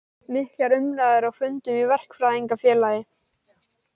Miklar umræður á fundum í Verkfræðingafélagi